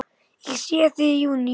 Ég sé þig í júní.